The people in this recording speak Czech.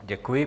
Děkuji.